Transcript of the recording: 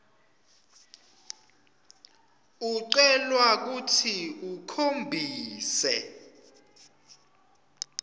ucelwa kutsi ukhombise